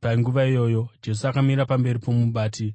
Panguva iyoyo Jesu akamira pamberi pomubati,